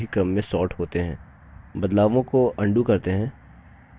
आप देखते हैं कि दोनों headings अवरोही क्रम में सॉर्ट होते हैं